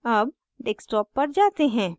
अब desktop पर जाते हैं